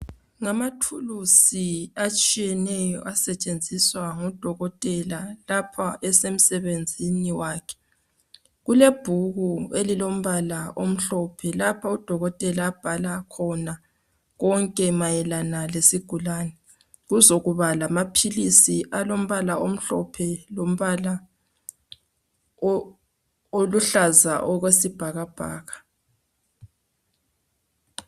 Ngamathulusi asetshenziswa ngudokotela lapho esemsebenzini wakhe kulebhuku elilombala omhlophe lapha udokotela abhala khona konke mayelana lesigulani kuzokuba lamapills alombala omhlophe lombala oluhlaza okwesibhakabhaka